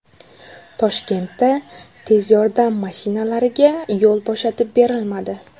Toshkentda tez yordam mashinalariga yo‘l bo‘shatib berilmadi.